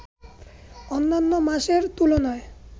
অন্যান্য মাসের তুলনায়